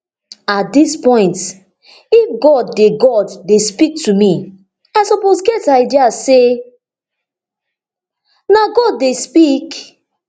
at dis point if god dey god dey speak to me i suppose get idea say na god dey speak